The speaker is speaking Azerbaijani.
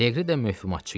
Leqri də möhvümatçı idi.